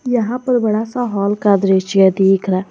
यहां पर बड़ा सा हॉल का दृश्य दिख रहा है।